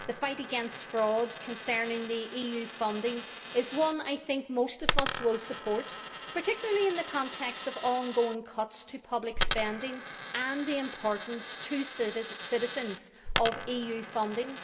The fight against fraud concerning EU funding is one that I think most of us will support, particularly in the context of ongoing cuts to public spending and the importance to citizens of EU funding.